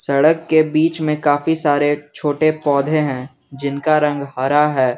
सड़क के बीच में काफी सारे छोटे पौधे हैं जिनका रंग हरा है।